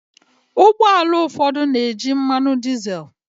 Ụgbọ ala ụfọdụ na-eji mmanụ dizel.